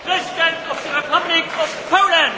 Witam w Parlamencie Europejskim